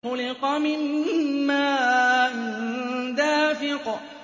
خُلِقَ مِن مَّاءٍ دَافِقٍ